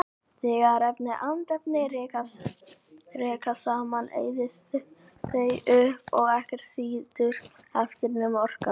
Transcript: Þegar efni og andefni rekast saman eyðast þau upp og ekkert situr eftir nema orkan.